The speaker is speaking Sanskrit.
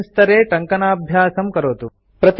अस्मिन् स्तरे टङ्कणाभ्यासं करोतु